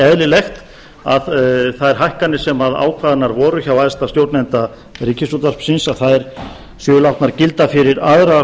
eðlilegt að þær hækkanir sem ákveðnar voru hjá æðsta stjórnanda ríkisútvarpsins séu látnar gilda fyrir aðra